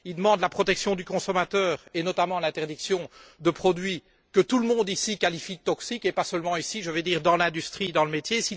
Il demande la protection du consommateur, et notamment l'interdiction de produits que tout le monde ici qualifie de toxiques, et pas seulement ici, mais également dans l'industrie, dans le métier.